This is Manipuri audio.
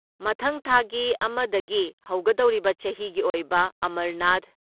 ꯃꯊꯪ ꯊꯥꯒꯤ ꯑꯃꯗꯒꯤ ꯍꯧꯒꯗꯧꯔꯤꯕ ꯆꯍꯤꯒꯤ ꯑꯣꯏꯕ ꯑꯃꯔꯅꯥꯊ